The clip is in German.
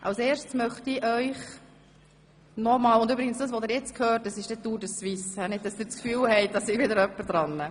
– Was Sie jetzt gerade hören, ist übrigens die Tour de Suisse, nicht dass Sie das Gefühl haben, es störe wieder jemand.